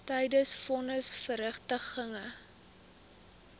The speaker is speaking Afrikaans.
tydens von nisverrigtinge